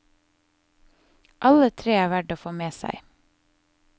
Alle tre er verd å få med seg.